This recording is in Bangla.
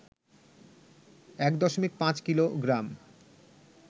১.৫ কিলোগ্রাম,